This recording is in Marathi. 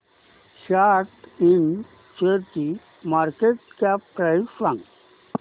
सॅट इंड शेअरची मार्केट कॅप प्राइस सांगा